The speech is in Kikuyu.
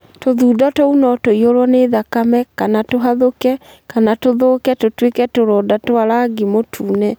Tũthundo tũu no tũiyũrũo nĩ thakame na/kana tũgathũke kana tũthũke tũtuĩke tũronda twa rangi mũtune.